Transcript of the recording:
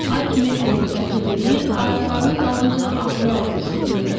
Ay kimi əyripəncə yeriyir, ayaqlarını dalınca ağır-ağır sürüyürdü.